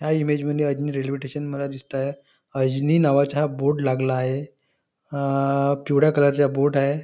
ह्या इमेज मध्ये Ajni railway station मला दिसतय अजनी नावाचा हा बोर्ड लागला आहे अ पिवड्या कलर चा बोर्ड आहे.